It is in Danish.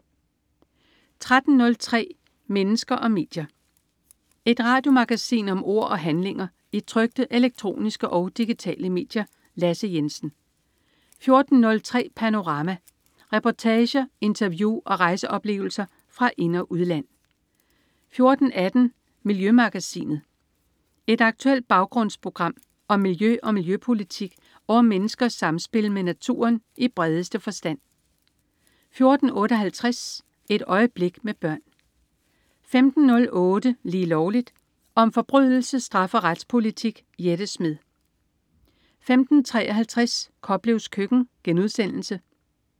13.03 Mennesker og medier. Et radiomagasin om ord og handlinger i trykte, elektroniske og digitale medier. Lasse Jensen 14.03 Panorama. Reportager, interview og rejseoplevelser fra ind- og udland 14.18 Miljømagasinet. Et aktuelt baggrundsprogram om miljø og miljøpolitik og om menneskers samspil med naturen i bredeste forstand 14.58 Et øjeblik med børn 15.08 Lige Lovligt. Om forbrydelse, straf og retspolitik. Jette Smed 15.53 Koplevs Køkken*